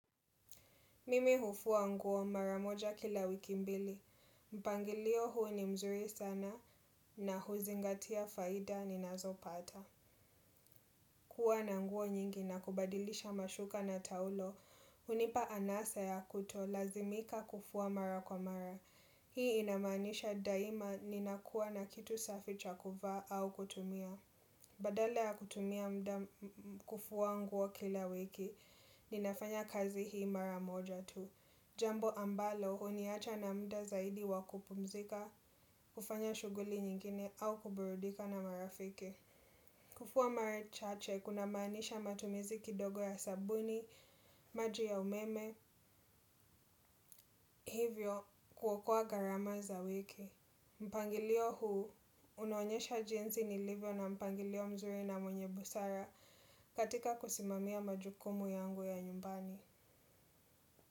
Mimi hufua nguo mara moja kila wiki mbili. Mpangilio huu ni mzuri sana na huzingatia faida ni ninazopata. Kuwa na nguo nyingi na kubadilisha mashuka na taulo. Hunipa anasa ya kutolazimika kufua mara kwa mara. Hii inamanisha daima ninakuwa na kitu safi cha kuvaa au kutumia. Badala ya kutumia mda kufua nguo kila wiki, ninafanya kazi hii mara moja tu. Jambo ambalo huniacha na mda zaidi wa kupumzika, kufanya shughuli nyingine au kuburudika na marafiki. Kufua mara chache, kunamaanisha matumizi kidogo ya sabuni, maji ya umeme, hivyo kuokoa gharama za wiki. Mpangilio huu, unaonyesha jinsi nilivyo na mpangilio mzuri na mwenye busara katika kusimamia majukumu yangu ya nyumbani.